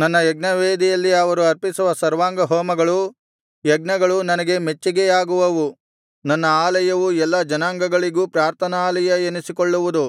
ನನ್ನ ಯಜ್ಞವೇದಿಯಲ್ಲಿ ಅವರು ಅರ್ಪಿಸುವ ಸರ್ವಾಂಗಹೋಮಗಳೂ ಯಜ್ಞಗಳೂ ನನಗೆ ಮೆಚ್ಚಿಗೆಯಾಗುವವು ನನ್ನ ಆಲಯವು ಎಲ್ಲಾ ಜನಾಂಗಗಳಿಗೂ ಪ್ರಾರ್ಥನಾಲಯ ಎನಿಸಿಕೊಳ್ಳುವುದು